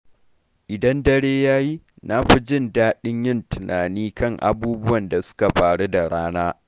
Idan dare ya yi, na fi jin daɗin yin tunani kan abubuwan da suka faru da rana.